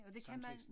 Sangteksten